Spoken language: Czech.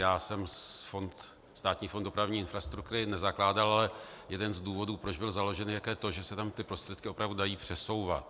Já jsem Státní fond dopravní infrastruktury nezakládal, ale jeden z důvodů, proč byl založen, je to, že se tam ty prostředky opravdu dají přesouvat.